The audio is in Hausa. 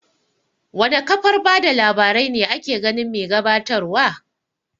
Wana kafar bada labarai ne ake ganin mai gabatar wa?